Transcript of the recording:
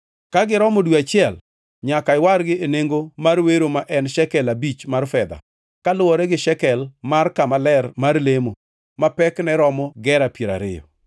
Ka giromo dwe achiel, nyaka iwargi e nengo mar wero ma en shekel abich mar fedha, kaluwore gi shekel mar kama ler mar lemo, ma pekne romo gera piero ariyo.